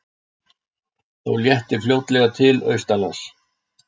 Þó léttir fljótlega til austanlands